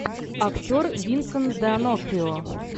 актер винсент д онофрио